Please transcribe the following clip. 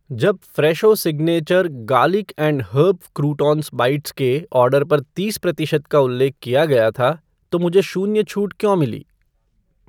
जब Fresho signature garlic and herb croutons bites के order पर तीस प्रतिशत का उल्लेख किया गया था तो मुझे शून्य छूट क्यों मिली?